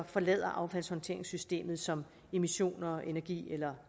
forlader affaldshåndteringssystemet som emissioner energi eller